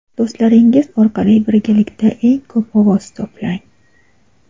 do‘stlaringiz orqali birgalikda eng ko‘p ovoz to‘plang.